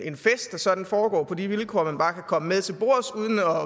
en fest der sådan foregår på de vilkår at man bare kan komme med til bords uden at